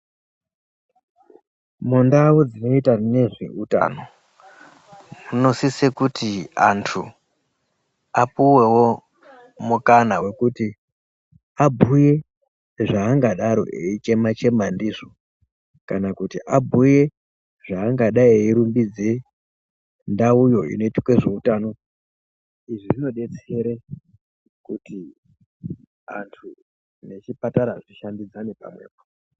Mundau dzinoita nezveutano munosiso kuti antu apuwewo mukana wekuti abhuye zvaangadaro eichema-chema ndizvo kana kuti abhuye zvaangadai eirumbidze ndau yo inoitwa zveutano. Izvi zvodetsere kut antu nechipatara zvishandidzane pamwepo.